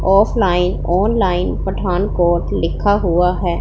Offline online Pathankot लिखा हुआ है।